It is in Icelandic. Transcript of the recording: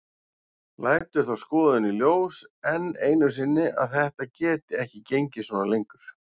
Lætur þá skoðun í ljós enn einu sinni að þetta geti ekki gengið svona lengur.